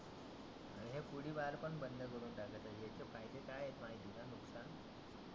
हे पुडी बार पण बंद करुण टाका याचे फायदे काय आहे?